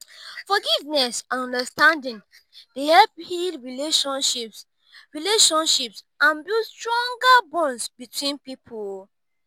forgiveness and understanding dey help heal relationships relationships and build stronger bonds between people.